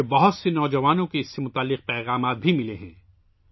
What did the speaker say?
مجھے کئی نوجوانوں کی طرف سے اس سے متعلق پیغامات بھی موصول ہوئے ہیں